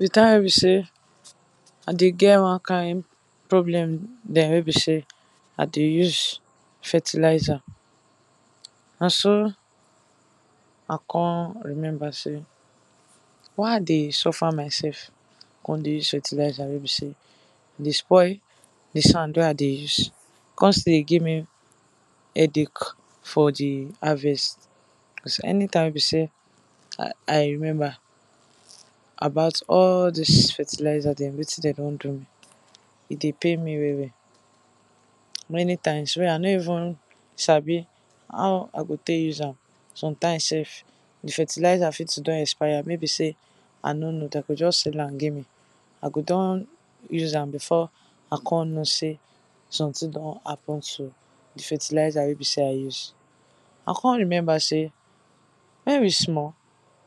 Di time wey be sey I dey get one kind problem dem wen be sey I dey use fertilizer na so I come remember sey, why I dey suffer myself come dey use fertilizer wey be sey, e dey spoil di sand wey I dey use, come still dey give me headache for di harvest, because anytime wey be sey I remember about all dis fertilizer dem wetin dem don do me, e dey pain me well well, many times wey I nor even sabi how I go take use am, sometime sef di fertilizer fit to don expire, maybe sey I no know dem go just sell am give me. I go don use am before I go know sey something don happen to di fertilizer wey be sey use. I come remember sey wen we small,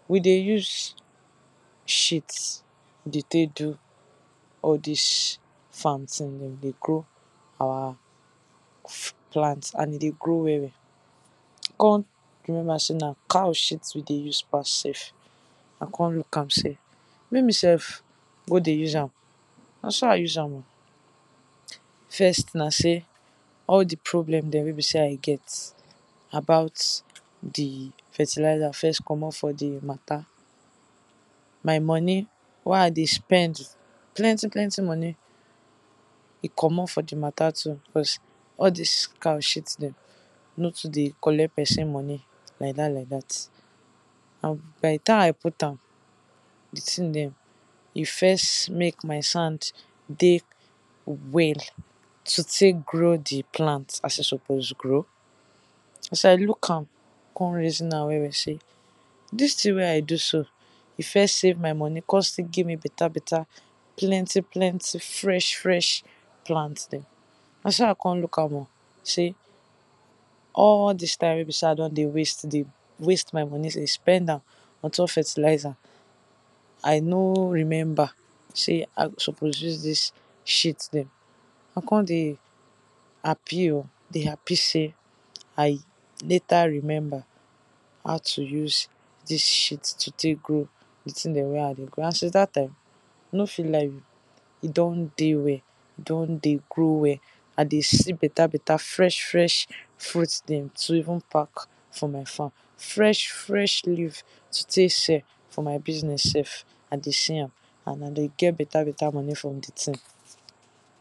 we dey use shit take dey do all dis farm thing dey take grow our plant and e dey grow well well, I come remember sey na cow shit na im we dey use pass sef, I come look am sey, make me sef go dey use am na so ise am oh. first na sey all di problem dem wey be sey I get about all di fertilizer dem first komot for di matter, my money wey I dey spend, plenty plenty money e komot for di matter too, because all dis cow shit dem no too dey collect person money, like dat like dat, and by di time I put am, di thing dem e first make my sand dey well, to take grow di plant as e suppose grow, as I look am come reason am well well sey dis thing wey I do so e first save my money come still give me better better fresh fresh plant dem, na so I come look am oh, sey all dis time dem wey be sey I don waste dey waste my money dey spend am on top fertilizer, I no remember sey I suppose use dis shit dem, I come dey happy oh, dey happy sey I later remember how to use dis shit dem, take grow di thing dem wey I dey grow and since dat time I no fit lie you, e don dey well e don dey grow well, I dey see better better fresh fresh fruit dem to even pack from my farm, fresh fresh leave take sell for my business sef, I dey see am and I dey get bette better money from di things.